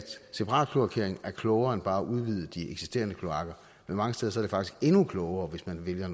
separatkloakering er klogere end bare at udvide de eksisterende kloakker men mange steder er det faktisk endnu klogere hvis man vælger